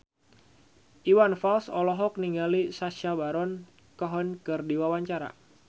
Iwan Fals olohok ningali Sacha Baron Cohen keur diwawancara